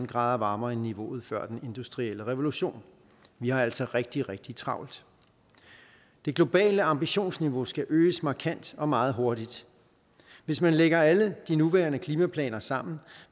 grad varmere end niveauet før den industrielle revolution vi har altså rigtig rigtig travlt det globale ambitionsniveau skal øges markant og meget hurtigt hvis man lægger alle de nuværende klimaplaner sammen